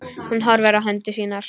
Hún horfir á hendur sínar.